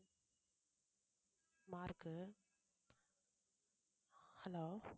mark hello